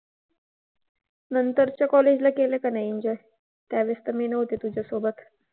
नंतरच्या college ला गेलं की नाही, त्यावेळेस तर मी नव्हते तुझ्यासोबत.